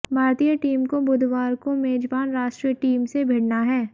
भारतीय टीम को बुधवार को मेजबान राष्ट्रीय टीम से भिड़ना है